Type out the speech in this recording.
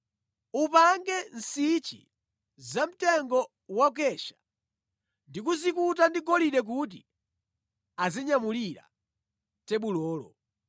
Upange nsichi zamtengo wa mkesha ndi kuzikuta ndi golide kuti azinyamulira tebulolo.